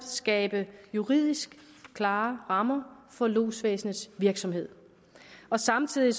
skabe juridisk klare rammer for lodsvæsenets virksomhed samtidig